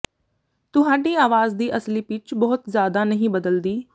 ਤੁਹਾਡੀ ਆਵਾਜ਼ ਦੀ ਅਸਲੀ ਪਿੱਚ ਬਹੁਤ ਜ਼ਿਆਦਾ ਨਹੀਂ ਬਦਲਦੀ